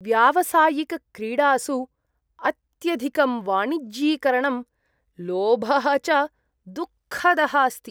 व्यावसायिकक्रीडासु अत्यधिकं वाणिज्यीकरणं लोभः च दुःखदः अस्ति।